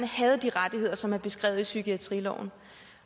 havde de rettigheder som er beskrevet i psykiatriloven